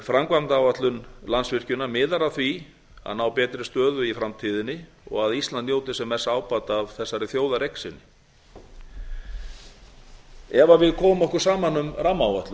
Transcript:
framkvæmdaáætlun landsvirkjunar miðar að því að ná betri stöðu í framtíðinni og að ísland njóti sem mests ábata af þessari þjóðareign sinni ef við komum okkur saman um rammaáætlun